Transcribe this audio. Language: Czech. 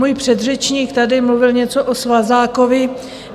Můj předřečník tady mluvil něco o svazákovi.